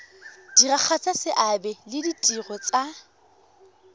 diragatsa seabe le ditiro tsa